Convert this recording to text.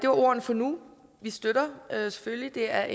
ordene for nu vi støtter det selvfølgelig det er